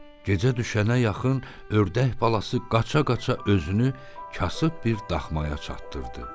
Gecə düşənə yaxın ördək balası qaça-qaça özünü kasıb bir daxmaya çatdırdı.